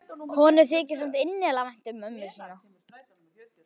Honum þykir samt innilega vænt um mömmu sína.